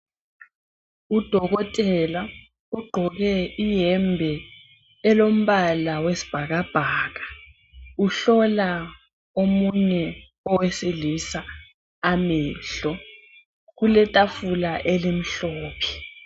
Udokotela ugqoke iyembe elombala wesibhakabhaka uhlola omunye owesilisa amehlo, kuletafula elimhlophe.